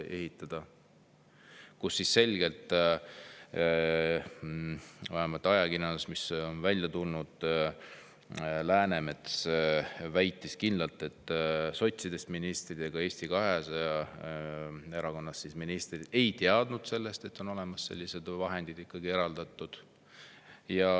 Läänemets väitis kindlalt, vähemalt ajakirjandusest on niimoodi välja tulnud, et sotsidest ministrid ja Eesti 200 ministrid ei teadnud seda, et need vahendid on ikkagi eraldatud.